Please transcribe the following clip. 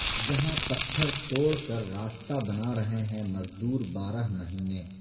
جہاں پتھر توڑ کر راستہ بنا رہے ہیں مزدور بارہ مہینے